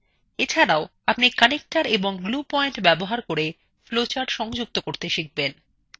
এছাড়াও আপনি connectors এবং glue পয়েন্টস ব্যবহার করে flowcharts সংযুক্ত করতে শিখবেন